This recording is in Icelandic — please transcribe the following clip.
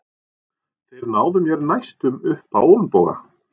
Þeir náðu mér næstum upp á olnboga.